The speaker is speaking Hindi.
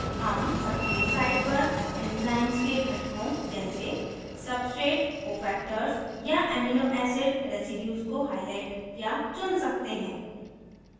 हम सक्रिय site पर enzymes के घटकों जैसे : substrate cofactors या amino acid residues को highlight या चुन सकते हैं